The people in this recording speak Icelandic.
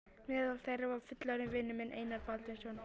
Meðal þeirra var fullorðinn vinur minn, Einar Baldvinsson.